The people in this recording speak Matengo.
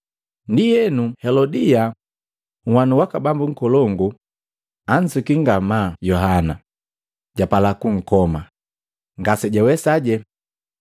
Ndienu Helodia, nwanu waka bambu nkolongu, ansuki ngamaa Yohana, japala kunkoma, ngasijawesaje.